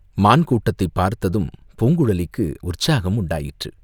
மான் கூட்டத்தைப் பார்த்ததும் பூங்குழலிக்கு உற்சாகம் உண்டாயிற்று.